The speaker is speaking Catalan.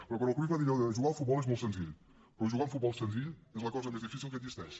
però quan el cruyff va dir allò de jugar al futbol és molt senzill però jugar a un futbol senzill és la cosa més difícil que existeix